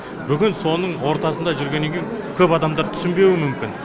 бүгін соның ортасында жүргеннен кейін көп адамдар түсінбеуі мүмкін